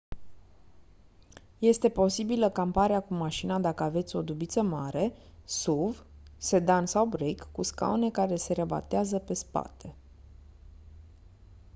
este posibilă camparea cu mașina dacă aveți o dubiță mare suv sedan sau break cu scaune care se rabatează pe spate